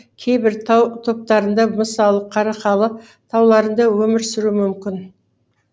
кейбір тау топтарында мысалы қарақалы тауларында өмір сүруі мүмкін